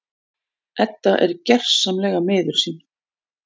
Edda er gersamlega miður sín.